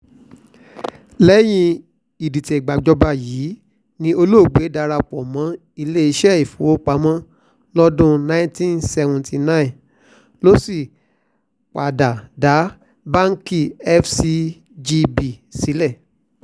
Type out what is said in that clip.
lẹ́yìn ìdìtẹ̀gbàjọba yìí ni olóògbé darapọ̀ mọ́ iléeṣẹ́ ìfowópamọ́ lọ́dún nineteen seventy nine ló sì padà dá báńkì fcgb sílẹ̀